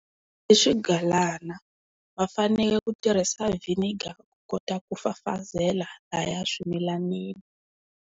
I swigalana va fanele ku tirhisa vinegar ku kota ku fafazela lahaya swimilanini.